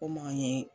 Kom'an ye